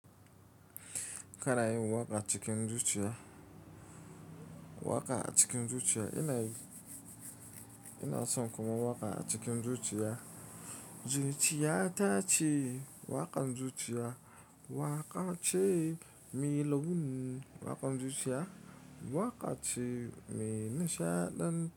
Kana yin waƙa cikin zuciya. Waƙa a cikin zuciya ina yi. Ina son kuma waƙa a cikin zuciya. Zuciyata ce waƙan zuciya, waƙa ce mai launin waƙan zuciya, waƙa ce mai nishaɗan.